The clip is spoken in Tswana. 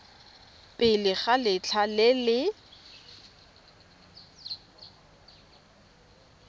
pele ga letlha le le